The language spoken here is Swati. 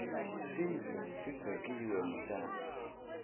tindlu tidzeklwe ngetjani